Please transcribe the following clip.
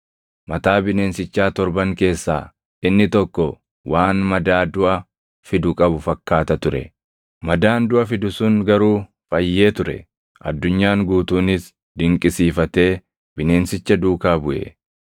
Mataa bineensichaa torban keessaa inni tokko waan madaa duʼa fidu qabu fakkaata ture; madaan duʼa fidu sun garuu fayyee ture. Addunyaan guutuunis dinqisiifatee bineensicha duukaa buʼe.